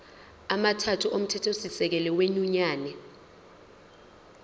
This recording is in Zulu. amathathu omthethosisekelo wenyunyane